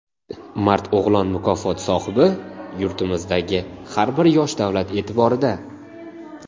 "Mard o‘g‘lon" mukofoti sohibi: " Yurtimizdagi har bir yosh davlat e’tiborida".